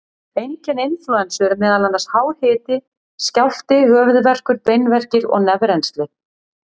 Einkenni inflúensu eru meðal annars hár hiti, skjálfti, höfuðverkur, beinverkir og nefrennsli.